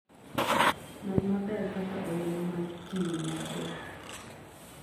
Non maber kaka olemo mag kiwi nyago.